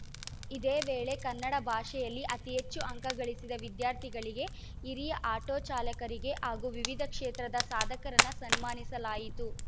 ಇದೇ ವೇಳೆ ಕನ್ನಡ ಭಾಷೆಯಲ್ಲಿ ಅತಿ ಹೆಚ್ಚು ಅಂಕಗಳಿಸಿದ ವಿದ್ಯಾರ್ಥಿಗಳಿಗೆ ಹಿರಿಯ ಆಟೋ ಚಾಲಕರಿಗೆ ಹಾಗೂ ವಿವಿಧ ಕ್ಷೇತ್ರದ ಸಾಧಕರನ್ನು ಸನ್ಮಾನಿಸಲಾಯಿತು